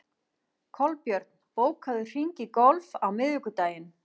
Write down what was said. Kolbjörn, bókaðu hring í golf á miðvikudaginn.